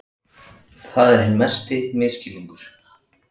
Það er hinn mesti misskilningur.